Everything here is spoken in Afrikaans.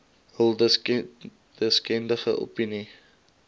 hul deskundige opinie